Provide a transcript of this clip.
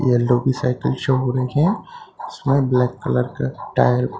yellow भी cycle show हो रहे हैं उसमे ब्लैक कलर का टायर --